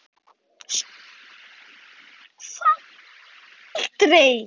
SÓLA: Það geri ég aldrei!